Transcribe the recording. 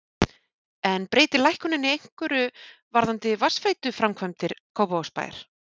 En breytir lækkunin einhverju varðandi vatnsveituframkvæmdir Kópavogsbæjar?